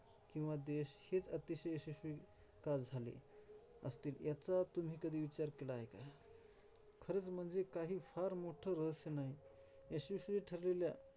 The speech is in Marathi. किंवा देश हेच अतिशय यशस्वी का झाले असतील, ह्याचा कधी तुम्ही विचार केला आहे का? खरच म्हणजे काही फार मोठ रहस्य नाही. यशस्वी ठरलेल्या.